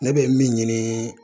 Ne bɛ min ɲini